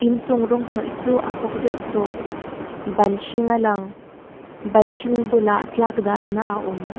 inchung rawng hnawih chu a khawk deuh tawh ban hring a lang ban hring bulah tlak dalna a awm.